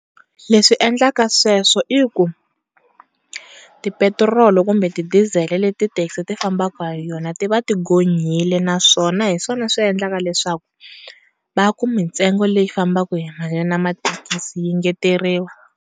Leswi endlaka sweswo i ku ti petiroli kumbe ti dizele leti ti thekisi ti fambaka ha yona tiva tinghonyile naswona hiswona swi endlaka leswaku va ku mi ntsengo yi fambaku na mathekisi yi engeteriwa.